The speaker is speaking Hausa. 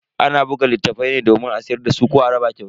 Ana buga littafai ne domin a siyar dasu ko a raba kyauta.